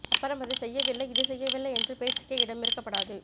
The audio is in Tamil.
அப்பறம் அதை செய்யவில்லை இதை செய்யவில்லை என்ற பேச்சுக்கே இடம் இருக்கப்டாது